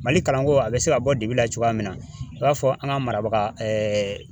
Mali kalanko, a be se ka bɔ dibi la cogoya min na, i b'a fɔ an ka marabaga